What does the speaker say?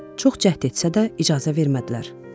Çox cəhd etsə də icazə vermədilər.